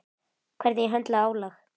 Hvernig ég höndla álag.